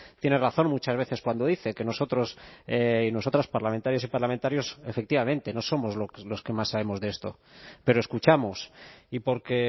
tiene razón muchas veces cuando dice que nosotros y nosotras parlamentarias y parlamentarios efectivamente no somos los que más sabemos de esto pero escuchamos y porque